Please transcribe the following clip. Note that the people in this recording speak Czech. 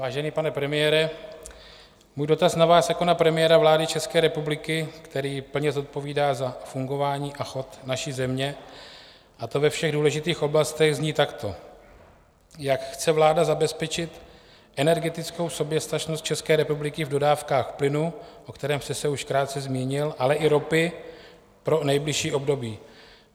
Vážený pane premiére, můj dotaz na vás jako na premiéra vlády České republiky, který plně zodpovídá za fungování a chod naší země, a to ve všech důležitých oblastech, zní takto: Jak chce vláda zabezpečit energetickou soběstačnost České republiky v dodávkách plynu, o kterém jste se už krátce zmínil, ale i ropy pro nejbližší období?